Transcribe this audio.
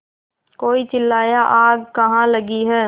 कोई चिल्लाया आग कहाँ लगी है